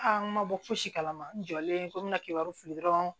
A ma bɔ fosi kalama n jɔlen ko n bɛna kibaruya fili dɔrɔn